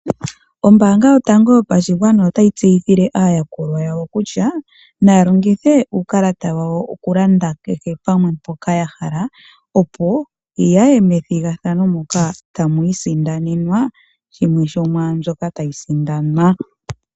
Ombaanga yotango yopashigwana otayi tseyithile aayakulwa yawo kutya naya longithe uukalata wayo okulanda kehe pamwe mpoka yahala opo yaye methigathano moka tamwiisindanenwa shimwe sho mwaa mbyoka tayi sindanwa.